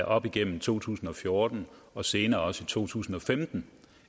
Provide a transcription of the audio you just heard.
op igennem to tusind og fjorten og senere også i to tusind og femten